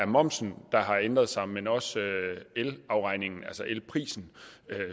momsen der har ændret sig men også elafregningen altså elprisen